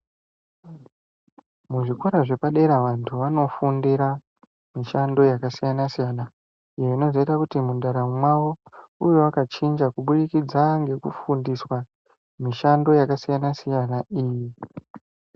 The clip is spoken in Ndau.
Muzvikora zvepadera vantu vanofundira mishando yakasiyana siyana zvinozoita kuti mundaramo mwavo ive yakachinja kubudikidza ngekufundiswa mishando yakasiyana siyana.